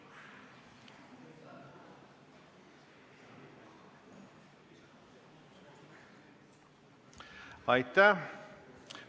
Hääletustulemused Aitäh!